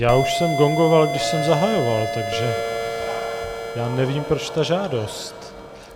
Já už jsem gongoval, když jsem zahajoval, takže já nevím, proč ta žádost.